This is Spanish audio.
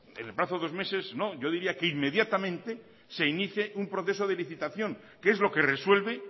en el plazo de dos meses no yo diría que inmediatamente se inicie un proceso de licitación que es lo que resuelve